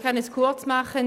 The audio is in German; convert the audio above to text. Ich kann es kurz machen.